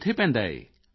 ਕਿੱਥੇ ਪੈਂਦਾ ਇਹ